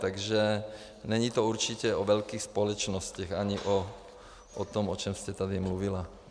Takže není to určitě o velkých společnostech ani o tom, o čem jste tady mluvila.